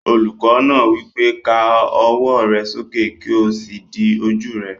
Olùkọ́ náà wí pé, "Ká ọwọ́ rẹ sókè kí o sì di ojú rẹ!"